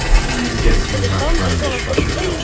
Hann gæti dansað svona til eilífðar.